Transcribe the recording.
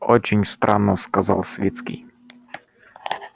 очень странно сказал свицкий